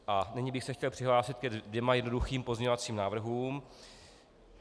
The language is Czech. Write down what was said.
A nyní bych se chtěl přihlásit ke dvěma jednoduchým pozměňovacím návrhům.